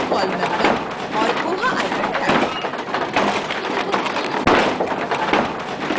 full call number और koha item type